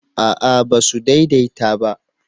a'a ba su daidaita ba